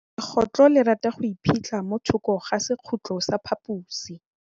Legôtlô le rata go iphitlha mo thokô ga sekhutlo sa phaposi.